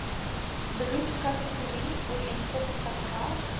beroepskategorie ooreenkomstig ras